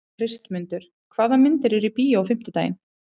Kristmundur, hvaða myndir eru í bíó á fimmtudaginn?